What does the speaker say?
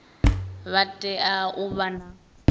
vha tea u vha na